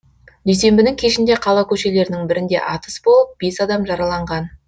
дүйсенбінің кешінде қала көшелерінің бірінде атыс болып бес адам жараланған